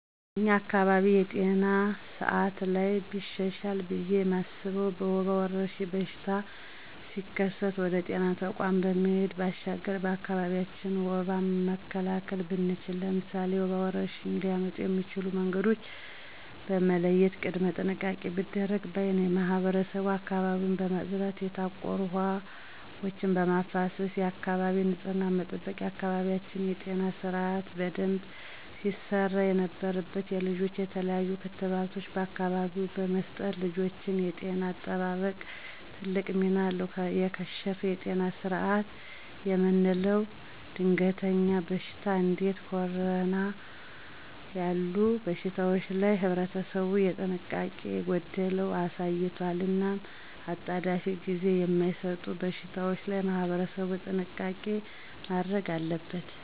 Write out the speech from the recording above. በኛ አካባቢ የጤና ስአት ላይ ቢሻሻል ብየ ማስበው የወባ ወረርሽኝ በሽታው ሲከሰት ወደ ጤና ተቋማት ከመሄድ ባሻገር በአካቢያችን ወባን መካላከል ብንችል። ለምሳሌ፦ የወባ ወረርሽኝ ሊያመጡ የሚችሉ መንገዶችን በመለየት ቅድመ ጥንቃቄ ቢደረግ ባይ ነኝ። ማህበረሰቡ አካባቢውን በማፅዳት የታቆሩ ውሀ ወችን በማፋሰስ የአካባቢ ንፅህናን መጠበቅ። በአካባቢያችን የጤና ስርአት በደንብ ሲሰራ የነበረበት የልጆች የተለያሉ ክትባቶችን በአካቢው በመስጠት የልጆችን የጤና አጠባበቅ ትልቅ ሚና አለው። የከሸፈ የጤና ስርአት የምለው ደንገሀኛ በሽታወች እንዴ ኮረና ያሉ በሽታወች ላይ ህብረተሰቡ የጥንቃቄ ጎደለቶች አሳይቷል። እናም አጣዳፊናጊዜ ማይሰጡ በሽታወች ላይ ማህበረሰቡ ጥንቃቄ ማድረግ አለበት።